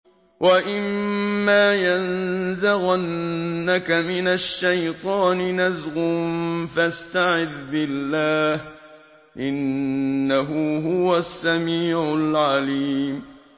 وَإِمَّا يَنزَغَنَّكَ مِنَ الشَّيْطَانِ نَزْغٌ فَاسْتَعِذْ بِاللَّهِ ۖ إِنَّهُ هُوَ السَّمِيعُ الْعَلِيمُ